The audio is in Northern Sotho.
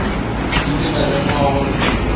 ke ile ka lemoga gore